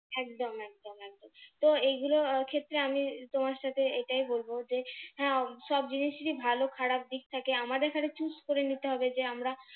একদম একদম একদম, তো এগুলোর ক্ষেত্রে আমি তোমার সাথে এটাই বলবো যে হ্যাঁ সব জিনিসেরই ভালো খারাপ দিক থাকে আমাদের খালি choose করে নিতে হবে যে আমরা,